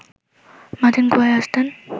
মাথিন কুয়ায় আসতেন